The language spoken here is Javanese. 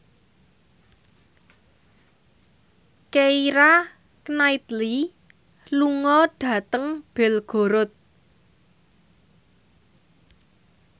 Keira Knightley lunga dhateng Belgorod